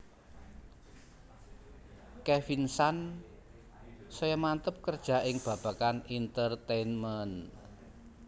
Kevin san saya manteb kerja ing babagan entertainment